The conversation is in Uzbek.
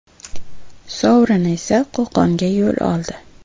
Sovrin esa Qo‘qonga yo‘l oldi.